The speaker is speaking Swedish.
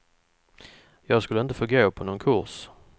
Jag skulle inte få gå på någon kurs.